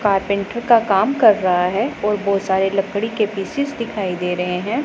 Carpenter का काम कर रहा है और बहुत सारे लकड़ी के पीसेज दिखाई दे रहे हैं।